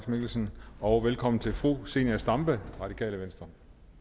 mikkelsen og velkommen til fru zenia stampe radikale venstre